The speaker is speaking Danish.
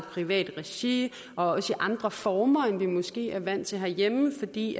privat regi og også i andre former end vi måske er vant til herhjemme fordi